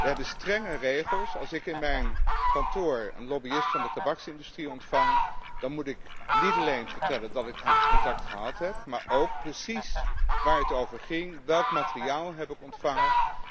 Wij hebben strenge regels als ik in mijn kantoor een lobbyist van de tabaksindustrie ontvang, dan moet ik niet alleen vertellen dat ik dat contact gehad heb, maar ook precies waar het over ging, welk materiaal ik heb ontvangen.